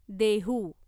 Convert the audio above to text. Dehu